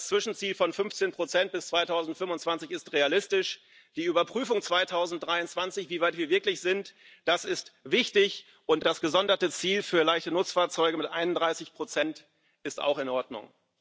Das Zwischenziel von 15 bis 2025 ist realistisch, die Überprüfung 2023, wie weit wir wirklich sind, ist wichtig, und das gesonderte Ziel für leichte Nutzfahrzeuge mit 31 ist auch in Ordnung.